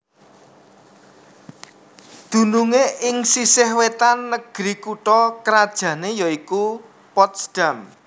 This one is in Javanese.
Dunungé ing sisih wétan negri kutha krajané ya iku Potsdam